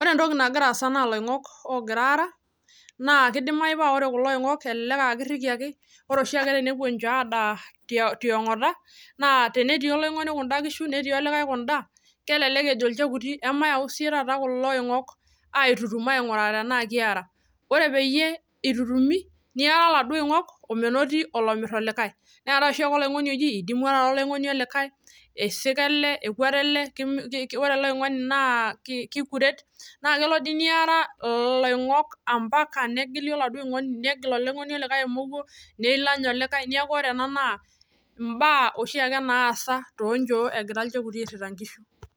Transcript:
Ore entoki nagira assa na iloingok ogira ara na kidimayu paa ore kulo oingok na kelelek aa kirikiaki, ore oshiake tenepuo inchoo adaa tiangata na tenetii oloingoni kunda kishu natii olikae kundakishu kelelek ejo ilchekuti mayauu siyie kulo oing'ok aitutum aingurai tenaa keerai. Ore peyie itutumi neera lelo oing'ok omenoti olomirr olikae neetae oloing'oni oji idimua taata oloing'oni olikae, isika ele, ekuata ele, ore ele oing'oni na kaikuret, nakelo neera loingok mpaka negili oloingoni olikae emomuo neilany olikae kundakishu neeku imbaa kuna naasa etii ilchekuti shoo.